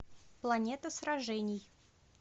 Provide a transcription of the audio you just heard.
планета сражений